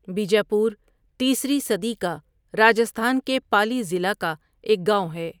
بیجاپور تیسری صدی کا راجستھان کے پالی ضلع کا ایک گاؤں ہے۔